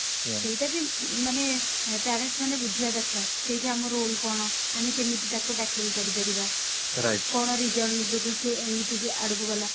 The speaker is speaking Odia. ସେଇଟା ବି ମାନେ parents ମାନେ ବୁଝିବା ଦରକାର ସେଇଠି ଆମର role କଣ ଆମେ କେମିତି ତାକୁ tackle କରି ପାରିବା କଣ reason ଯୋଗୁ ସେ ଏମିତି ଯେ ଆଡକୁ ଗଲା